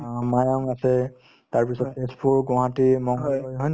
অ, মায়াং আছে তাৰপিছত তেজপুৰ, গুৱাহাটী হয়নে